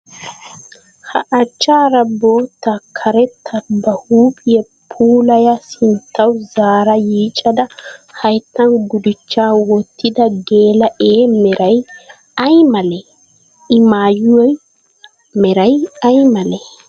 Ha achchaara bootta karetta ba huuphiya puulaya sinttawu zaara yiicada hayittan gudichchaa wottida geela'ee meraya ayi malee? I mayyuwa meray ayi malee?